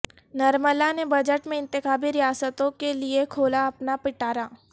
نرملا نے بجٹ میں انتخابی ریاستوں کے لئے کھولا اپنا پٹارا